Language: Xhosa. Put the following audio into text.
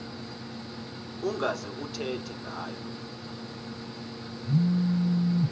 ungaze uthethe ngayo